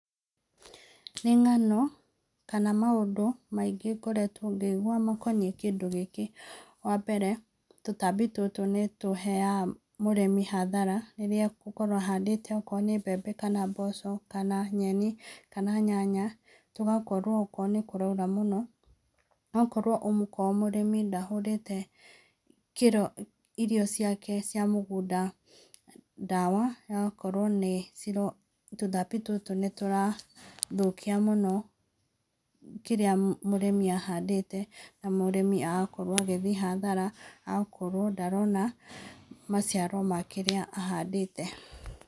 Nĩ ng'ano kana maũndũ maingĩ ngoretwo ngĩigua makoniĩ kĩndũ gĩkĩ. Wambere, tũtambi tũtũ nĩ tũheaga mũrĩmi hathara rĩrĩa egũkorwo ahandĩte okorwo nĩ mbembe kana mboco kana nyeni kana nyanya, tũgakorwo okorwo nĩ kũraura mũno, okorwo mũrĩmi ndahũrĩte irio ciake cia mũgũnda ndawa, ĩgakorwo nĩ tũtambi tũtũ nĩtũrathũkia mũno kĩrĩa mũrĩmi ahandĩte na mũrĩmi agakorwo agĩthiĩ hathara, agakorwo ndarona maciaro ma kĩrĩa ahandĩte.